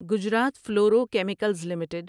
Gujarat fluoro chemicals limited